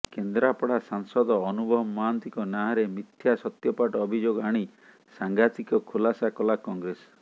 କେନ୍ଦ୍ରାପଡା ସାଂସଦ ଅନୁଭବ ମହାନ୍ତିଙ୍କ ନାଁରେ ମିଥ୍ୟା ସତ୍ୟପାଠ ଅଭିଯୋଗ ଆଣି ସାଙ୍ଘାତିକ ଖୁଲାସା କଲା କଂଗ୍ରେସ